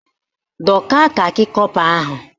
Dọka kakị kọpa ahụ!